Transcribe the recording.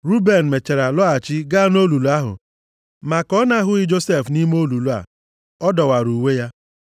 Ruben mechara lọghachi gaa nʼolulu ahụ, ma ka ọ na-ahụghị Josef nʼime olulu a, ọ dọwara uwe ya.